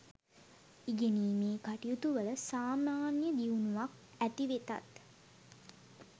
ඉගෙනීමේ කටයුතුවල සාමාන්‍ය දියුණුවක් ඇති වෙතත්